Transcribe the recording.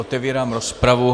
Otevírám rozpravu.